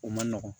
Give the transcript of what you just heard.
O man nɔgɔn